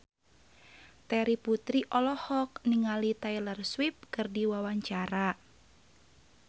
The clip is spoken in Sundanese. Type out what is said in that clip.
Terry Putri olohok ningali Taylor Swift keur diwawancara